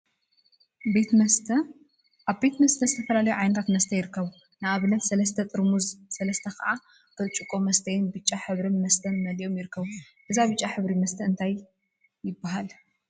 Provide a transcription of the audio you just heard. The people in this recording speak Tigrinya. ቤት መስተ አብ ቤት መስት ዝተፈላለዩ ዓይነታት መስተ ይርከቡ፡፡ ንአብነት ሰለስተ ጥርሙዝን ሰለስተ ከዓ ብርጭቆ መስተይን ብጫ ሕብሪ መስተ መሊኦም ይርከቡ፡፡ እዚ ብጫ ሕብሪ መስተ እንታይ ይበሃል?